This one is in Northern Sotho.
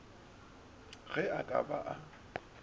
ge e ka ba a